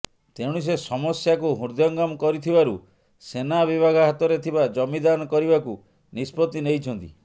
ତେଣୁ ସେ ସମସ୍ୟାକୁ ହୃଦୟଙ୍ଗମ କରିଥିବାରୁ ସେନା ବିଭାଗ ହାତରେ ଥିବା ଜମି ଦାନ କରିବାକୁ ନିଷ୍ପତ୍ତି ନେଇଛନ୍ତି